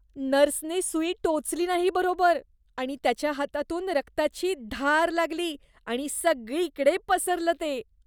नर्सने सुई टोचली नाही बरोबर आणि त्याच्या हातातून रक्ताची धार लागली आणि सगळीकडे पसरलं ते.